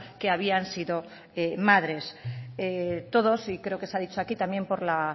que habían sido madres todos y creo que se ha dicho aquí también por la